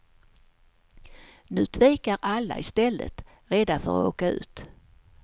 Nu tvekar alla i stället, rädda för att åka ut.